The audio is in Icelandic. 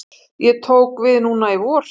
Ég tók við núna í vor.